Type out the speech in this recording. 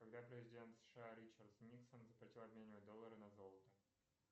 когда президент сша ричард никсон запретил обменивать доллары на золото